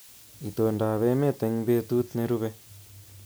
Itondoab emet eng betut nerube